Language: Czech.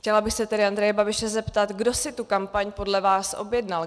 Chtěla bych se tedy Andreje Babiše zeptat, kdo si tu kampaň podle vás objednal.